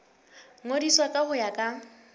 ngodiswa ka ho ya ka